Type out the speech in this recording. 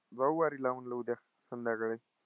जाऊ वारीला म्हंटलं उद्या संध्याकाळी.